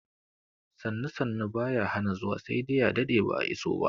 Sannu sannu baya hana zuwa sai dai a daɗe ba'a iso ba